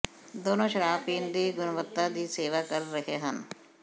ਦੋਨੋ ਸ਼ਰਾਬ ਪੀਣ ਦੀ ਗੁਣਵੱਤਾ ਦੀ ਸੇਵਾ ਕਰ ਰਹੇ ਹਨ